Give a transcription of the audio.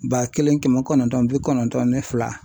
Ba kelen kɛmɛ kɔnɔntɔn ni bi kɔnɔntɔn ni fila.